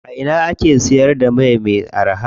A ina ake siyar da mai me araha?